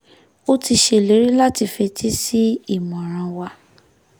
ó ti ṣèlérí láti fetí sí ìmọ̀ràn wa